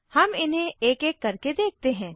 हम इन्हें एक एक करके देखते हैं